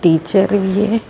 Teacher ਵੀ ਹੈ।